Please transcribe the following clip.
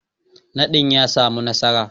Nadin ya samu nasara.